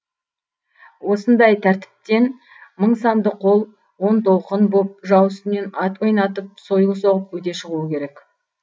осындай тәртіптен мың санды қол он толқын боп жау үстінен ат ойнатып сойыл соғып өте шығуы керек